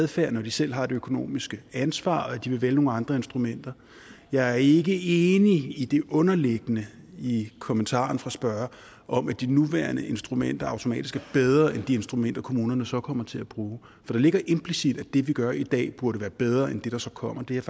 adfærd når de selv har det økonomiske ansvar og at de vil vælge nogle andre instrumenter jeg er ikke enig i det underliggende i kommentaren fra spørgeren om at de nuværende instrumenter automatisk er bedre end de instrumenter kommunerne så kommer til at bruge for det ligger implicit at det vi gør i dag burde være bedre end det der så kommer det er